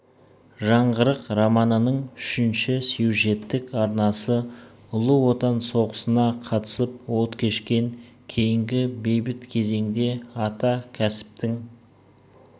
жаңғырық романының үшінші сюжеттік арнасы ұлы отан соғысына қатысып от кешкен кейінгі бейбіт кезеңде ата кәсіптің